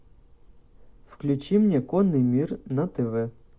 включи мне конный мир на тв